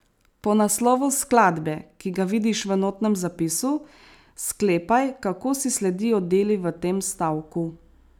Po naslovu skladbe, ki ga vidiš v notnem zapisu, sklepaj, kako si sledijo deli v tem stavku.